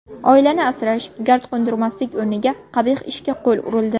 Oilani asrash, gard qo‘ndirmaslik o‘rniga qabih ishga qo‘l urildi.